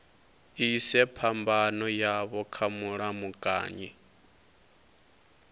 ise phambano yavho kha mulamukanyi